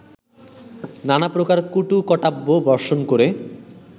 নানাপ্রকার কটুকাটব্য বর্ষণ করে